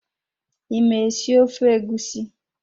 I ma esi ofe egusi?